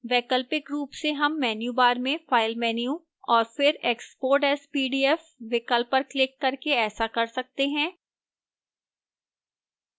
वैकल्पिक रूप से हम menu bar में file menu और फिर export as pdf विकल्प पर क्लिक करके ऐसा कर सकते हैं